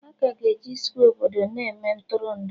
Aka ga-eji Skwe obodo na-eme Ntụrụndụ